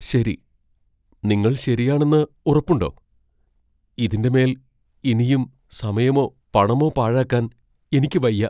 ശരി, നിങ്ങൾ ശരിയാണെന്ന് ഉറപ്പുണ്ടോ? ഇതിന്റെ മേൽ ഇനിയും സമയോ പണമോ പാഴാക്കാൻ എനിക്ക് വയ്യ.